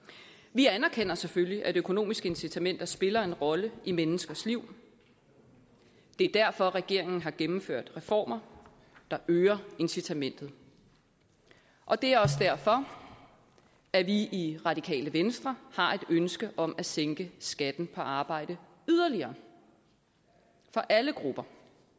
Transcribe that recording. vi anerkender selvfølgelig at økonomiske incitamenter spiller en rolle i menneskers liv og det er derfor regeringen har gennemført reformer der øger incitamentet og det er også derfor at vi i radikale venstre har et ønske om at sænke skatten på arbejde yderligere for alle grupper